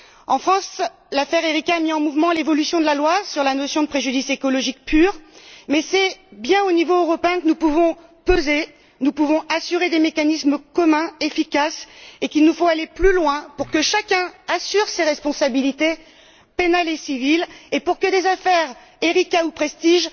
En France, l'affaire de l'Erika a mis en mouvement l'évolution de la loi sur la notion de préjudice écologique pur mais c'est bien au niveau européen que nous pouvons peser de tout notre poids et assurer des mécanismes communs et efficaces, et qu'il nous faut aller plus loin pour que chacun assume ses responsabilités pénales et civiles et pour que des affaires comme l'Erika ou le Prestige